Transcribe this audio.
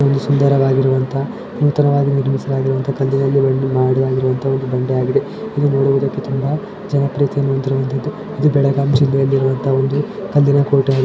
ಒಂದು ಸುಂದರವಾಗಿರುವ ಅಂತ ನೂತನವಾಗಿ ನಿರ್ಮಿಸಿರುವ ಕಂದು ಬಣ್ಣದಲ್ಲಿ ಮಾಡಿರುವಂತಹ ಒಂದುಕಂದು ಬಣ್ಣದಲ್ಲಿ ಮಾಡಿರುವಂತಹ ಒಂದು ಬಂಡೆ ಆಗಿದೆ ಇದು ನೋಡುವುದಕ್ಕೆ ತುಂಬಾ ಜನ ಪ್ರೀತಿಯನ್ನು ಹೊಂದಿರುವಂತದ್ದು ಇದು ಬೆಳಗಾಂ ಜಿಲ್ಲೆಯಲ್ಲಿ ಇರುವಂತ ಒಂದು ಕಲ್ಲಿನಕೋಟೆಯಾಗಿದೆ.